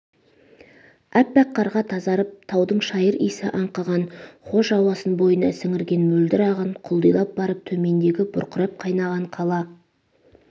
әппақ қарға тазарып таудың шайыр иісі аңқыған хош ауасын бойына сіңірген мөлдір ағын құлдилап барып төмендегі бұрқырап қайнаған қала